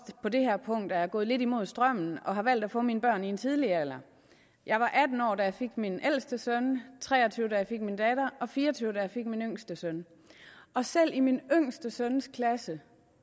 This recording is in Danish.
på det her punkt er gået lidt imod strømmen og har valgt at få mine børn i en tidlig alder jeg var atten år da jeg fik min ældste søn tre og tyve da jeg fik min datter og fire og tyve da jeg fik min yngste søn og selv i min yngste søns klasse